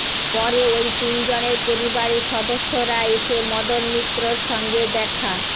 পরে ওই তিনজনের পরিবারের সদস্যরা এসে মদন মিত্রর সঙ্গে দেখা